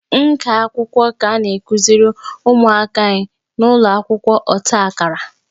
Nka akwụkwọ ka a na-akuziri ụmụaka anyị n'ụlọ akwụkwọ ọta akara